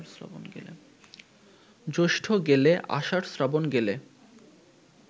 জ্যৈষ্ঠ গেলে, আষাঢ়, শ্রাবণ গেলে